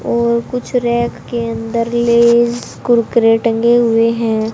और कुछ रैक के अंदर लेज कुरकुरे टंगे हुए हैं।